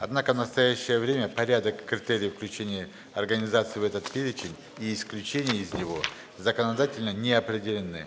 однако в настоящее время порядок критерии включения организации в этот перечень и исключения из него законодательно не определены